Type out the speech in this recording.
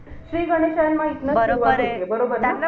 बरोबर आहे.